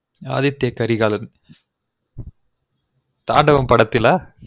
Aditya Karikalan Thaandavam படத்திலா